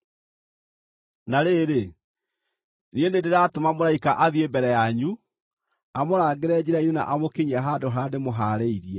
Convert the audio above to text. “Na rĩrĩ, niĩ nĩndĩratũma mũraika athiĩ mbere yanyu, amũrangĩre njĩra-inĩ na amũkinyie handũ harĩa ndĩmũhaarĩirie.